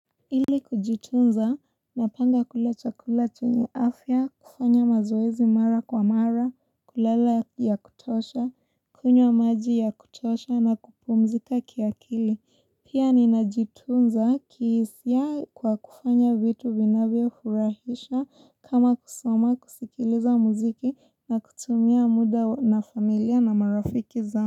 Ili kujitunza, napanga kula chakula chenye afya, kufanya mazoezi mara kwa mara, kulala ya kutosha, kunywa maji ya kutosha na kupumzika kiakili. Pia ninajitunza kihisia kwa kufanya vitu vinavyo furahisha kama kusoma kusikiliza muziki na kutumia muda na familia na marafiki zangu.